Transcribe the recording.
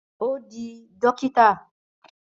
Ó di dókítà